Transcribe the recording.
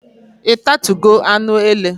Ị tatugo anụ ele?